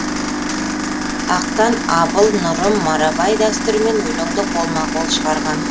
ақтан абыл нұрым марабай дәстүрімен өлеңді қолма қол шығарған